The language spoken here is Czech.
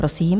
Prosím.